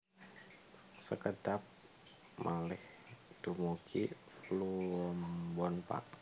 Sekedhap malih dumugi Pluombon Pak